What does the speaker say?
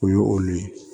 O ye olu ye